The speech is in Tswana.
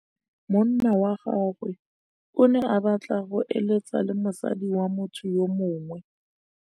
Monna wa gagwe o ne a batla go êlêtsa le mosadi wa motho yo mongwe.